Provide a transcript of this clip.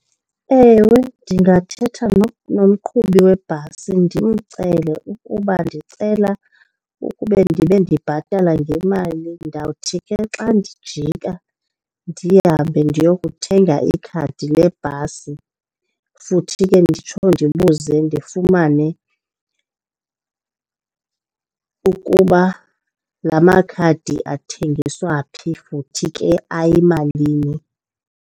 Ewe, ndingathetha nomqhubi webhasi ndimcele ukuba ndicela ukuba ndibe ndibhatala ngemali. Ndawuthi ke xa ndijika ndihambe ndiyokuthenga ikhadi lebhasi futhi ke nditsho ndibuze ndifumane ukuba la makhadi athengiswa phi futhi ke ayimalini.